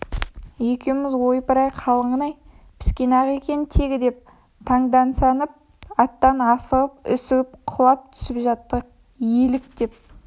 екеуіміз ойпыр-ай қалыңын-ай піскен-ақ екен тегі деп танданысып аттан асығып-үсігіп құлап түсіп жаттық елік деп